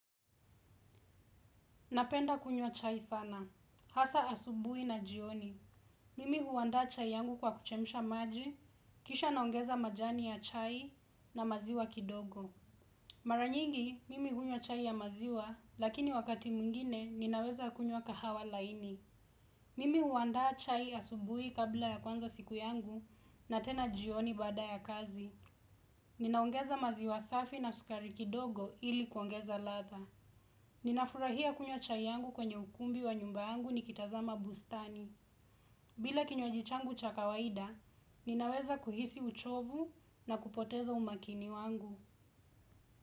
Napenda kunywa chai sana. Hasa asubui na jioni. Mimi huaanda chai yangu kwa kuchemisha maji, kisha naongeza majani ya chai na maziwa kidogo. Mara nyingi, mimi hunywa chai ya maziwa, lakini wakati mwingine, ninaweza kunywa kahawa laini. Mimi huanda chai asubui kabla ya kwanza siku yangu na tena jioni baada ya kazi. Ninaongeza maziwa safi na sukari kidogo ili kuongeza ladha. Ninafurahia kunywa chai yangu kwenye ukumbi wa nyumba yangu ni kitazama bustani bila kinywaji changu cha kawaida, ninaweza kuhisi uchovu na kupoteza umakini wangu.